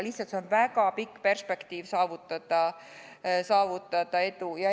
Lihtsalt see on väga pikk perspektiiv saavutada edu.